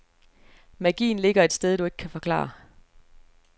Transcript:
Magien ligger et sted, du ikke kan forklare.